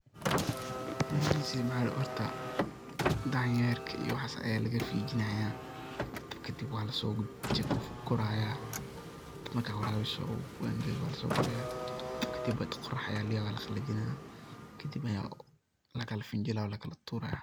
Horta danyerka iyo waxas ayaa laga fijinaya, kadib waa laso guraya marka warabiso u angago waa laso guraya kadib qorax ayaa ladigaya waa laqalajinaya kadib ayaa lakala finjilaya waa lakala turayaa .